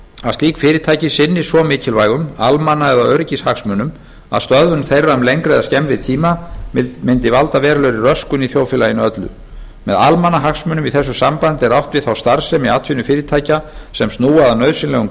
að slík fyrirtæki sinni svo mikilvægum almanna eða öryggishagsmunum að stöðvun þeirra um lengri eða skemmri tíma mundi valda verulegri röskun í þjóðfélaginu öllu með almannahagsmunum í þessu sambandi er átt við þá starfsemi atvinnufyrirtækja sem snúa að nauðsynlegum